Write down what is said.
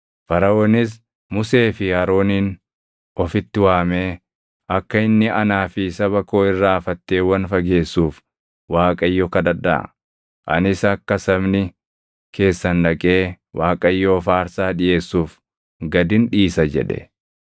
Faraʼoonis Musee fi Aroonin ofitti waamee, “Akka inni anaa fi saba koo irraa fatteewwan fageessuuf Waaqayyo kadhadhaa; anis akka sabni keessan dhaqee Waaqayyoof aarsaa dhiʼeessuuf gadin dhiisa” jedhe.